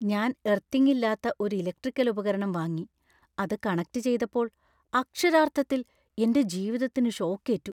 ഞാൻ എർത്തിംഗ് ഇല്ലാത്ത ഒരു ഇലക്ട്രിക്കൽ ഉപകരണം വാങ്ങി, അത് കണക്റ്റ് ചെയ്തപ്പോൾ അക്ഷരാർത്ഥത്തിൽ എന്‍റെ ജീവിതത്തിന് ഷോക് ഏറ്റു.